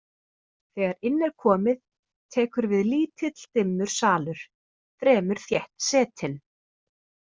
Þegar inn er komið tekur við lítill dimmur salur, fremur þétt setinn.